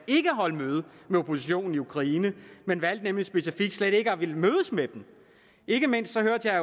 ikke at holde møde med oppositionen i ukraine han valgte specifikt ikke at ville mødes med den ikke mindst hørte jeg